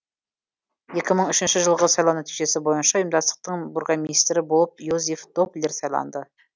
екі мың үшінші жылғы сайлау нәтижесі бойынша ұйымдастықтың бургомистрі болып йозеф доплер сайланды